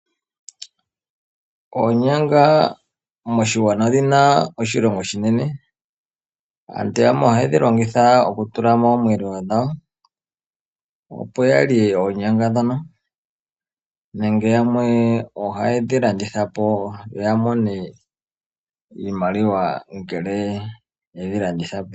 Oonyanga moshigwana odhina oshilonga oshinene. Aantu yamwe ohaye dhi longitha okutula momweelelo dhawo opo yalye oonyanga ndhono, nenge yamwe ohaye dhilanditha po noya mone iimaliwa ngele ye dhilanditha po.